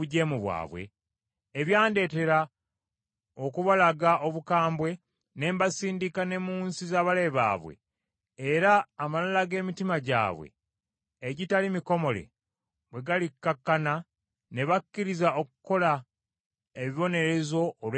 ebyandeetera okubalaga obukambwe ne mbasindika ne mu nsi z’abalabe baabwe, era amalala g’emitima gyabwe egitali mikomole bwe galikkakkana ne bakkiriza okukola ebibonerezo olw’ebyonoono byabwe,